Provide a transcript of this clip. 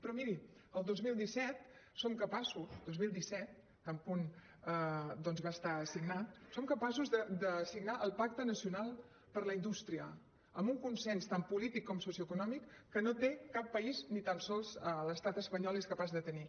però miri el dos mil disset som capaços dos mil disset tan bon punt doncs va estar signat de signar el pacte nacional per la indústria amb un consens tant polític com socioeconòmic que no té cap país ni tan sols l’estat espanyol és capaç de tenir